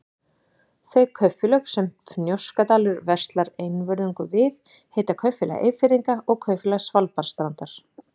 Þau kaupfélög, sem Fnjóskadalur verslar einvörðungu við, heita Kaupfélag Eyfirðinga og Kaupfélag Svalbarðsstrandar.